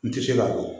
N tɛ se ka fɔ